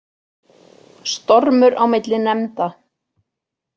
Stormur á milli nefnda